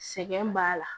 Sɛgɛn b'a la